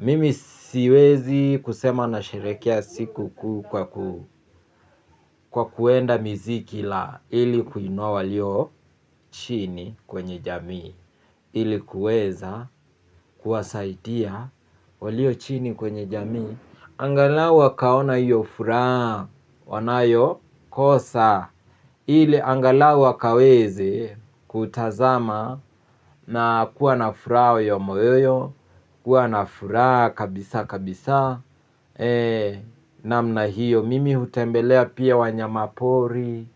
Mimi siwezi kusema na sherekea siku kuu kwa kuenda miziki la ili kuinua walio chini kwenye jamii. Ili kueza kuwasaitia walio chini kwenye jamii. Angalau wakaona hiyo furaha wanayo kosa. Ili angalau wakaweze kutazama na kuwa nafuraha ya moyoyo. Kuwa nafuraha kabisa kabisa. Namna hiyo mimi hutembelea pia wanyama pori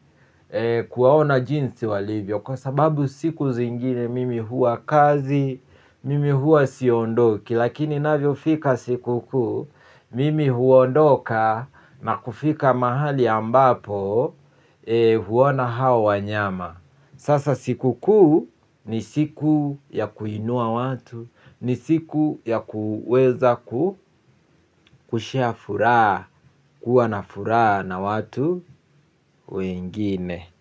kuwaona jinsi walivyo. Kwa sababu siku zingine. Mimi hua kazi. Mimi hua siondoki. Lakini inavyo fika siku kuu mimi huondoka na kufika mahali ambapo huona hao wanyama. Sasa siku kuu. Ni siku ya kuinua watu. Ni siku ya kuweza ku share furaha. Kuwa na furaha na watu wengine.